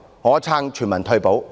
我支持全民退保。